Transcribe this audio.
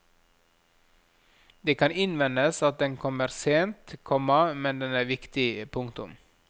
Det kan innvendes at den kommer sent, komma men den er viktig. punktum